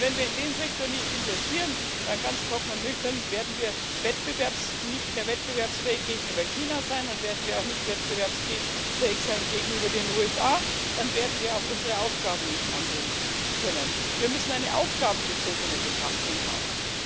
Denn wenn wir in den Sektor nicht investieren, dann ganz trocken und nüchtern werden wir nicht mehr wettbewerbsfähig sein gegenüber China, dann werden wir auch nicht wettbewerbsfähig sein gegenüber den USA, dann werden wir auch unsere Aufgaben nicht angehen können. Wir müssen eine aufgabenbezogene Betrachtung haben.